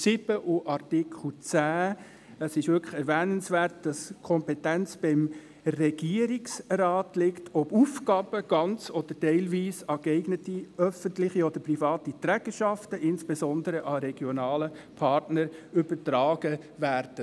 Neu ist geregelt – das ist wirklich erwähnenswert –, dass die Kompetenz beim Regierungsrat liegt, ob Aufgaben ganz oder teilweise geeigneten öffentlichen oder privaten Trägerschaften, insbesondere regionalen Partnern, übertragen werden.